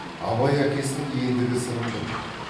абай әкесінің ендігі сырын білмейді